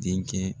Denkɛ